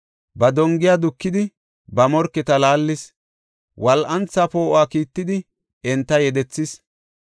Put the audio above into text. Ba dongiya dukidi, ba morketa laallis; wol7antha poo7o kiittidi, enta yedethis.